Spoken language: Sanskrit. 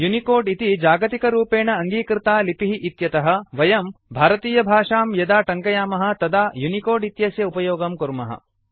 यूनिकोड इति जागतिकरूपेण अङ्गीकृता लिपिः इत्यतः वयं भारतीयभाषां यदा टङ्कयामः तदा यूनिकोड इत्यस्य उपयोगं कुर्मः